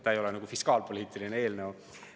See ei ole fiskaalpoliitiline eelnõu.